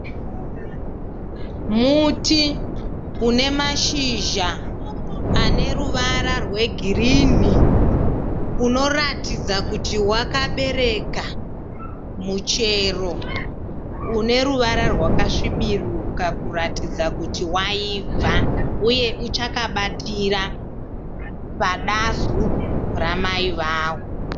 Muti une mashizha ane ruvara rwegirinhi unoratidza kuti wakabereka muchero une ruvara rwakasviburuka kuratidza kuti waibva uye uchakabatira padazu ramai varo.